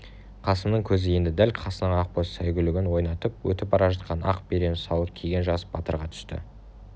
қасымның көзі енді дәл қасынан ақбоз сәйгүлігін ойнатып өтіп бара жатқан ақ берен сауыт киген жас батырға түсті